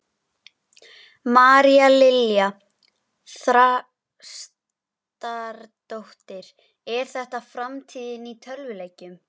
María Lilja Þrastardóttir: Er þetta framtíðin í tölvuleikjum?